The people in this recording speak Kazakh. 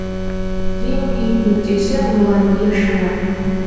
ең биік нүктесі муланье шыңы